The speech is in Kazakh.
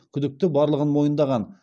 күдікті барлығын мойындаған